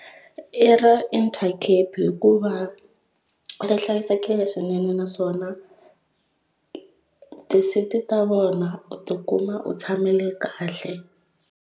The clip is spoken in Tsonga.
I ra intercape hikuva ri hlayisekile swinene naswona ti seat ta vona u tikuma u tshamile kahle.